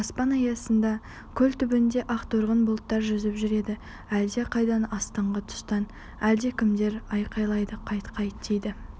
аспан аясында көл түбінде ақторғын бұлттар жүзіп жүреді әлдеқайдан астынғы тұстан әлдекімдер айқайлайды қайт қайт дейді